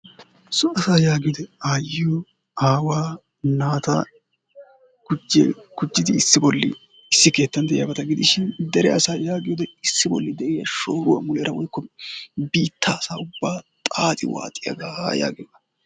so asaa yaagiyode aayiyo aawaa naata gujjin gujjidi issi boli issi keettan de'iyabata gidishin dere asaa yaagiyode issi boli de'iya shooruwa muleera woykko biittaa asaa ubaa xaaxi waaxiyaga yaagiyooga.